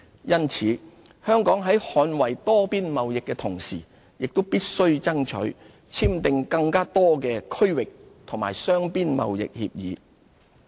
因此，香港在捍衞多邊貿易的同時，也必須爭取簽訂更多的區域和雙邊貿易協議。